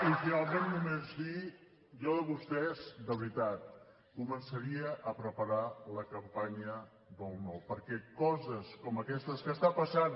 i finalment només dir jo de vostès de veritat començaria a preparar la campanya del no perquè coses com aquestes que estan passant